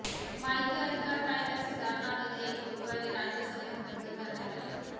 माहिती अधिकार कायद्यात सुधारणा विधेयक गुरुवारी राज्यसभेत मंजूर करण्यात आले